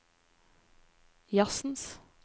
jazzens